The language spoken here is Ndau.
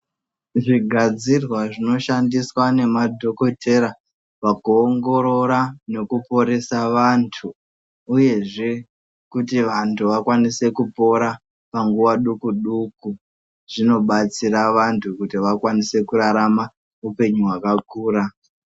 Zvigadzirwa zvinoshandiswa nemadhokothera pakuongorora nekuporesa vantu, uyezve kuti vantu vakwanise kupora panguwa doko-doko, zvinobatsira vantu kuti vakwanise kurarama upenyu hwakakura.